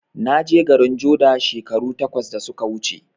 Naje garin joda shekaru takwas da suka wuce